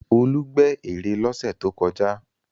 Olú gbẹ́ ère lọ́sẹ̀ tó kọjá.